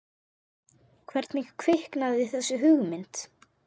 En hvernig kviknaði þessi hugmynd?